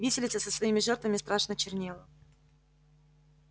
виселица со своими жертвами страшно чернела